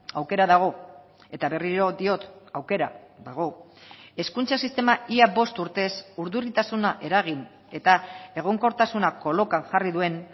aukera dago eta berriro diot aukera dago hezkuntza sistema ia bost urtez urduritasuna eragin eta egonkortasuna kolokan jarri duen